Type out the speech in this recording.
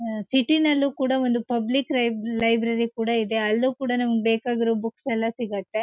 ಆ ಸಿಟಿ ನಲ್ಲೂ ಕೂಡ ಒಂದು ಪಬ್ಲಿಕ್ ರೈಬ್ ಲೈಬ್ರರಿ ಕೂಡ ಇದೆ ಅಲ್ಲೂ ಕೂಡ ನಮ್ಗೆ ಬೇಕಾಗಿರೊ ಬುಕ್ಸ್ ಎಲ್ಲಾ ಸಿಗತ್ತೆ.